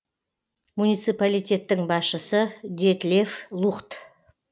муниципалитеттің басшысы детлеф лухт